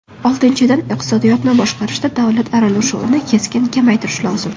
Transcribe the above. Oltinchidan, iqtisodiyotni boshqarishda davlat aralashuvini keskin kamaytirish lozim.